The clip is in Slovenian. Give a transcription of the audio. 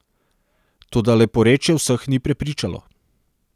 Toda leporečje vseh ni prepričalo.